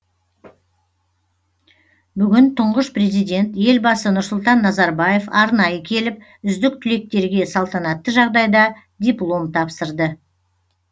бүгін тұңғыш президент елбасы нұрсұлтан назарбаев арнайы келіп үздік түлектерге салтанатты жағдайда диплом тапсырды